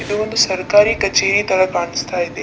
ಇದು ಒಂದು ಸರಕಾರಿ ಕಚೇರಿ ತರ ಕಾಣಿಸ್ತಾ ಇದೆ .